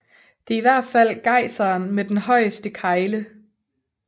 Det er i hvert fald gejseren med den højeste kegle